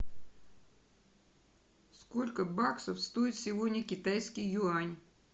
сколько баксов стоит сегодня китайский юань